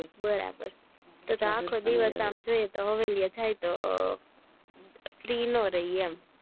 બરાબર તો તો અખો દિવસ આમ જોઈએ તો હવેલી એ જાય તો free નો રઈયે એમ